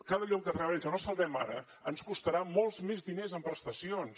cada lloc de treball que no salvem ara ens costarà molts més diners en prestacions